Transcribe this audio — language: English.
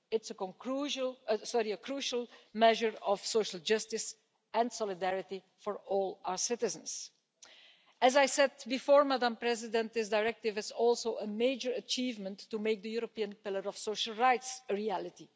It's a crucial measure of social justice and solidarity for all our citizens. As I said before, Madam President, this directive is also a major achievement to make the European pillar of social rights a reality.